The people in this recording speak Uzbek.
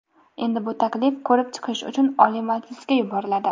Endi bu taklif ko‘rib chiqish uchun Oliy Majlisga yuboriladi.